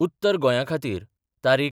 उत्तर गोंयाखातीर तारीख.